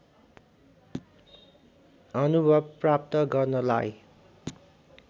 अनुभव प्राप्त गर्नलाई